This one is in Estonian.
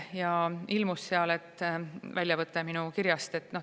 Seal ilmus väljavõte minu kirjast.